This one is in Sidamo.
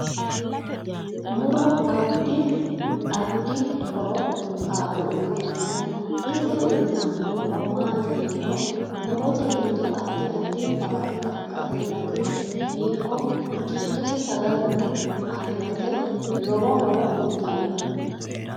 Muro addi adfi horo kaa'lo uyiitanno ise uyiitanno horo maati yiniro murote giddo addi addi baadi xagga heerate ikko gidose sagaleno afirate lowo horo uyiitanno